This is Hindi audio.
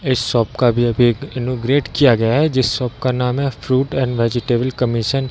इस शॉप का अभी-अभी इनॉगरेट किया गया है इस शॉप का नाम है फ्रूट एंड वेजिटेबल कमीशन ।